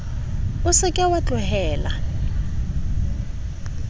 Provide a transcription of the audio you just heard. o se ke wa tlohela